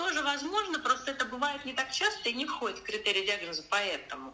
тоже возможно просто это бывает не так часто и не входит в критерии диагноза поэтому